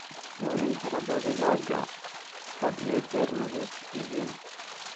Hubi in xiradhaa digaaga had iyo jeer nadiif yihiin.